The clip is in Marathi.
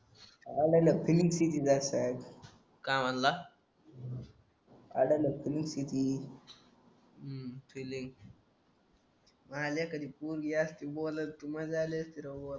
त्फिलिंग फ्री वाटय काय म्हणला फिलिंग फ्री अं फिलिंग मायल्या कधी पोरगी असती बोलत तर मजा आली असती